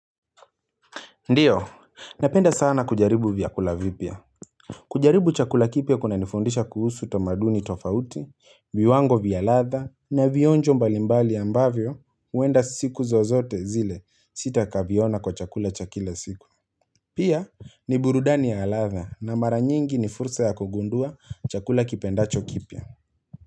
Ndio, napenda sana kujaribu vyakula vipya. Kujaribu chakula kipya kuna nifundisha kuhusu tomaduni tofauti, viwango vyaladha na vionjo mbalimbali ambavyo uenda siku zozote zile sita kaviona kwa chakula chakile siku. Pia ni burudani ya ladha na mara nyingi ni fursa ya kugundua chakula kipendacho kipya.